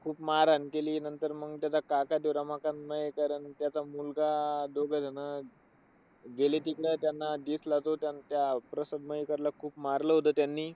खूप मारहाण केली. नंतर मग त्याचा काका ते, रमाकांत मायेकर अन त्याचा मुलगा, मग दोघंजण गेले तिकडे. त्यांना दिसला तो त्यांचा अह प्रसाद मयेकरला खूप मारलं होतं त्यांनी.